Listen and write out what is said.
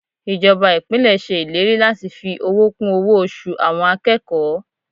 Ìjọba Ìpínlẹ̀ ṣe ìlérí láti fi owó kún owó oṣù àwọn akẹ́kọ̀ọ́.